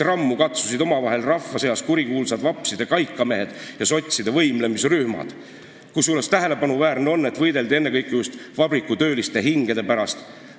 Omavahel katsusid rammu rahva seas kurikuulsad vapside kaikamehed ja sotside võimlemisrühmad, kusjuures tähelepanuväärne on, et võideldi ennekõike just vabrikutööliste hingede pärast.